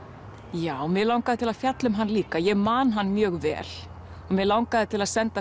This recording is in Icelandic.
já mig langaði til að fjalla um hann líka ég man hann mjög vel og mig langaði til að senda